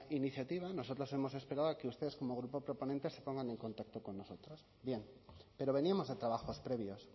iniciativa nosotros hemos esperado a que ustedes como grupo proponente se pongan en contacto con nosotros bien pero veníamos de trabajos previos